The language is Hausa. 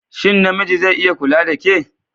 Shin namiji zai iya kula da ke?